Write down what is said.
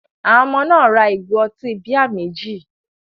Àwọn ọmọ náà ra ìgò ọtí bíà méjì.